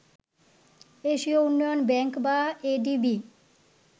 এশীয় উন্নয়ন ব্যাংক বা এডিবি